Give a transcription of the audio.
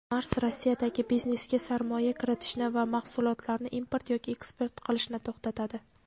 "Mars" Rossiyadagi biznesga sarmoya kiritishni va mahsulotlarni import yoki eksport qilishni to‘xtatadi.